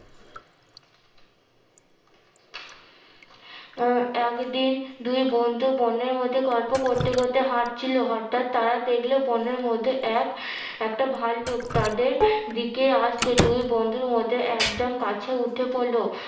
উম একদিন দুই বন্ধু বনের মধ্যে গল্প করতে করতে হাটছিলো হটাৎ তারা দেখলো বোনের মধ্যে এক একটা ভাল্লুক তাদের দিকে আসছে দুই বন্ধুর মধ্যে একজন গাছে উঠে পড়লো